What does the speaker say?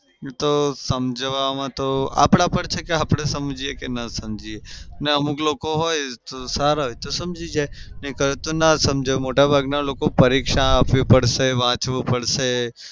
એ તો સમજવામાં તો આપડા પર છે આપડે સમજીએ કે ન સમજીએ. ને અમુક લોકો હોઈ તો સારા હોય તો સમજી જાય ના સમજે. મોટા ભાગના લોકો પરીક્ષા આપવી પડશે, વાંચવું પડશે.